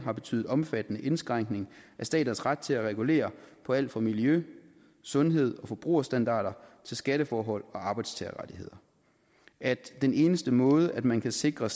har betydet omfattende indskrænkning af staters ret til at regulere på alt fra miljø sundheds og forbrugerstandarder til skatteforhold og arbejdstagerrettigheder at den eneste måde man kan sikre